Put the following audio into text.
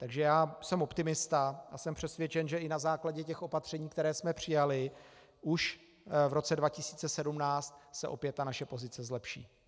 Takže já jsem optimista a jsem přesvědčen, že i na základě těch opatření, která jsme přijali, už v roce 2017 se opět naše pozice zlepší.